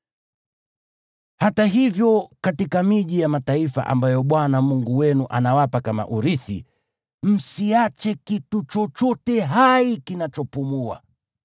Hata hivyo, katika miji ya mataifa ambayo Bwana Mungu wenu anawapa kama urithi, msiache kitu chochote hai kinachopumua.